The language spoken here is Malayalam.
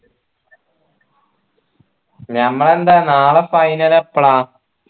നമ്മൾന്താ നാളെ final എപ്പളാ